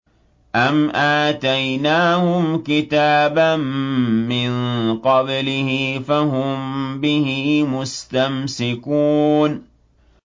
أَمْ آتَيْنَاهُمْ كِتَابًا مِّن قَبْلِهِ فَهُم بِهِ مُسْتَمْسِكُونَ